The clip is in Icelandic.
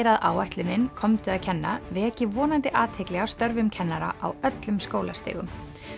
að áætlunin komdu að kenna veki vonandi athygli á störfum kennara á öllum skólastigum